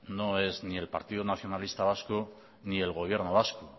no es ni el partidos nacionalista vasco ni el gobierno vasco